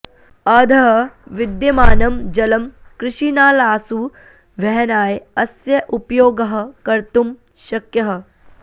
अधः विद्यमानं जलम् कृषिनालासु वहनाय अस्य उपयोगः कर्तुं शक्यः